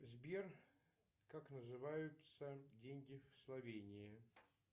сбер как называются деньги в словении